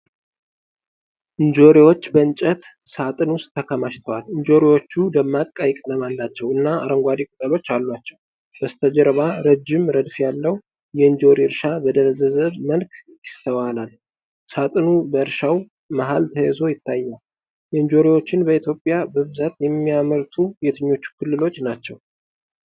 እንጆሪዎች በእንጨት ሣጥን ውስጥ ተከማችተዋል። እንጆሪዎቹ ደማቅ ቀይ ቀለም አላቸው እና አረንጓዴ ቅጠሎች አሏቸው። በስተጀርባ ረጅም ረድፍ ያለው የእንጆሪ እርሻ በደበዘዘ መልክ ይስተዋላል። ሣጥኑ በእርሻው መሃል ተይዞ ይታያል። እንጆሪዎችን በኢትዮጵያ በብዛት የሚያመርቱት የትኞቹ ክልሎች ናቸው?